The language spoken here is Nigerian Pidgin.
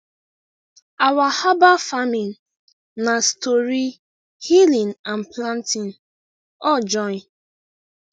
our herbal farming na story healing and planting all join